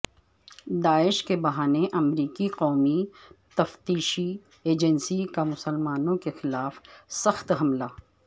داعش کے بہانے امریکی قومی تفتیشی ایجنسی کامسلمانوں کے خلاف سخت حملہ